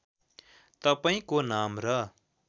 तपाईँंको नाम र